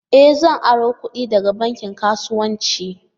E! Zan aro kudi daga bankin kasuwanci.